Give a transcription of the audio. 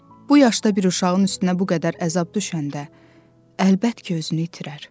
Bu yaşda bir uşağın üstünə bu qədər əzab düşəndə, əlbət ki, özünü itirər.